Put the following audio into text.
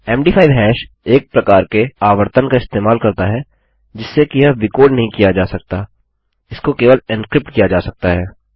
मद5 hash एक प्रकार के आवर्तन का इस्तेमाल करता है जिससे कि यह विकोड नहीं किया जा सकता इसको केवल एन्क्रिप्ट किया जा सकता है